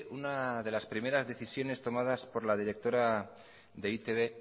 una de las primeras decisiones tomadas por la directora de e i te be